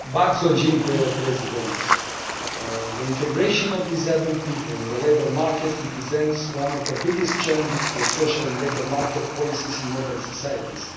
Mr President, the integration of disabled people in the labour market represents one of the biggest challenges for social and labour market policies in modern societies.